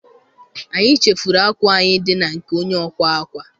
Anyị chefuru akwa anyị dị na nke onye ọkwa akwa.